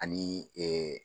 Ani